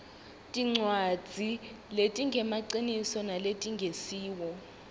tincwadzi letingemaciniso naletingesiwo